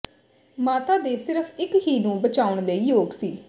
ਮਾਤਾ ਦੇ ਸਿਰਫ ਇੱਕ ਹੀ ਨੂੰ ਬਚਾਉਣ ਲਈ ਯੋਗ ਸੀ